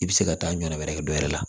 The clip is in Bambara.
I bɛ se ka taa ɲɔ wɛrɛ kɛ dɔ wɛrɛ la